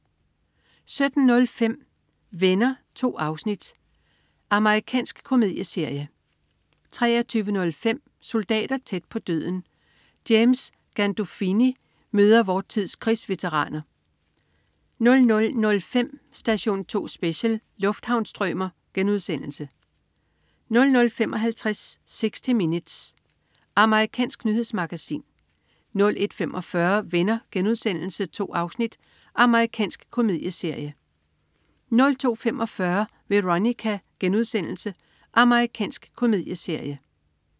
17.05 Venner. 2 afsnit. Amerikansk komedieserie 23.05 Soldater tæt på døden. James Gandolfini møder vor tids krigsveteraner 00.05 Station 2 Special: Lufthavnsstrømer* 00.55 60 Minutes. Amerikansk nyhedsmagasin 01.45 Venner.* 2 afsnit. Amerikansk komedieserie 02.45 Veronica.* Amerikansk komedieserie